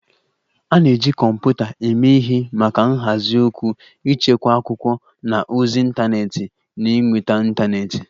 A na-eji kọmputa eme ihe maka nhazi okwu, ịchekwa akwụkwọ na ozi ịntanetị na ịnweta ịntanetị